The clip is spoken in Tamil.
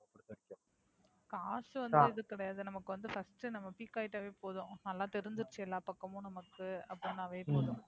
காசு வந்து இது கிடையாது நமக்கு வந்து First உ. நம்ம Peak ஆயிட்டாவே போதும் நல்லா தெரிஞ்சுருச்சு எல்லா பக்கமும் நமக்கு அப்படின்னாவே உம் போதும்.